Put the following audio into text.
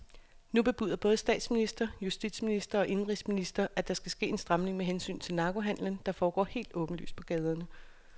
Nu bebuder både statsminister, justitsminister og indenrigsminister, at der skal ske en stramning med hensyn til narkohandelen, der foregår helt åbenlyst på gaderne.